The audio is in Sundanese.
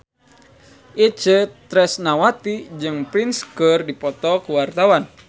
Itje Tresnawati jeung Prince keur dipoto ku wartawan